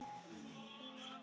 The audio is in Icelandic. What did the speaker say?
Var þetta minn besti leikur?